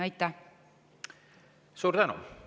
Suur tänu!